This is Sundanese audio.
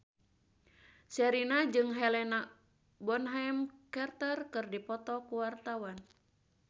Sherina jeung Helena Bonham Carter keur dipoto ku wartawan